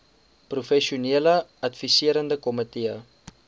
professionele adviserende komitee